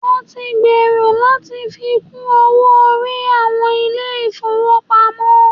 Wọn tí ń gbèrò láti fi kún owó orí àwọn ilé ìfọwọ́pamo.